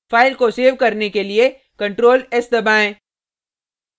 file को save करने के लिए ctrl+s दबाएँ